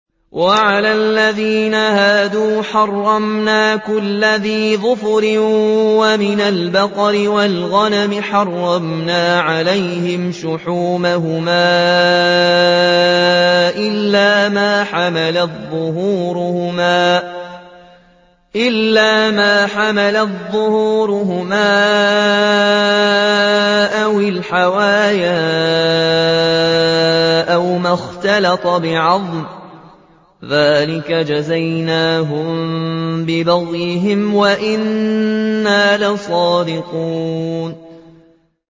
وَعَلَى الَّذِينَ هَادُوا حَرَّمْنَا كُلَّ ذِي ظُفُرٍ ۖ وَمِنَ الْبَقَرِ وَالْغَنَمِ حَرَّمْنَا عَلَيْهِمْ شُحُومَهُمَا إِلَّا مَا حَمَلَتْ ظُهُورُهُمَا أَوِ الْحَوَايَا أَوْ مَا اخْتَلَطَ بِعَظْمٍ ۚ ذَٰلِكَ جَزَيْنَاهُم بِبَغْيِهِمْ ۖ وَإِنَّا لَصَادِقُونَ